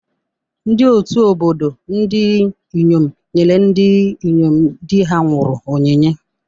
Ndị ọtụ́ obodo ndị inyom nyere ndị inyom di ha nwụrụ onyinye.